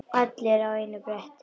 Allir á einu bretti.